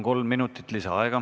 Kolm minutit lisaaega.